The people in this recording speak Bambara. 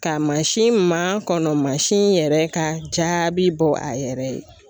Ka mansin ma kɔnɔ masi in yɛrɛ ka jaabi bɔ a yɛrɛ ye.